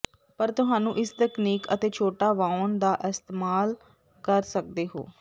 ਪਰ ਤੁਹਾਨੂੰ ਇਸ ਤਕਨੀਕ ਅਤੇ ਛੋਟਾ ਵਾਉਣ ਦਾ ਇਸਤੇਮਾਲ ਕਰ ਸਕਦੇ ਹੋ